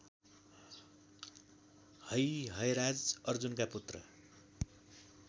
हैहयराज अर्जुनका पुत्र